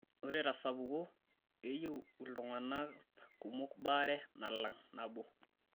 Ore tesapuko, keyieu iltung'ana kunok baare nalang' nabo.